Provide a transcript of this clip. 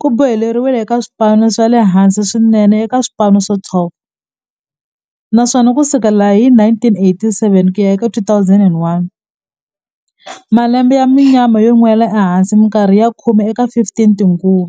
ku boheleriwile eka swipano swa le hansi swinene eka swipano swa 12, naswona ku sukela hi 1987 ku ya eka 2001, malembe ya munyama yo nwela ehansi minkarhi ya khume eka 15 tinguva.